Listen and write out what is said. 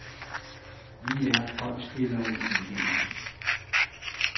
Vi er en golfspillere i weekenden.